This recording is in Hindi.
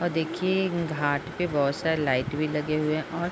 और देखिये घाट पे बहुत सारे लाइट भी लगे हुए है और --